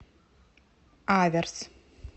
аверс